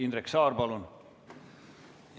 Indrek Saar, palun!